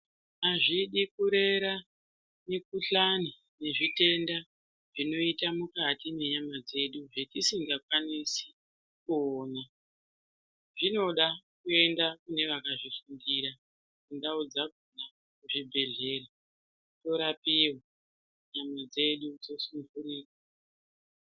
Hazvidi kurera mikuhlani nezvitenda zvinoita mukati menyama dzedu zvetisingakwanisi kuona. Zvinoda kuenda kune vakazvifundira kundau dzakona kuzvibhedhlera torapiwa nyama dzedu dzosundurika.